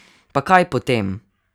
Pa kaj potem!